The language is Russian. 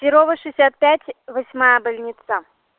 перово шестьдесят пять восьмая больница